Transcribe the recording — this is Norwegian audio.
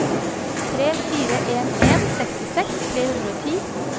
tre fire en en sekstiseks tre hundre og ti